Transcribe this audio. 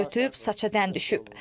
Yaş ötüb, saça dən düşüb.